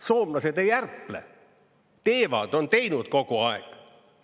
Soomlased ei ärple, teevad, on teinud kogu aeg.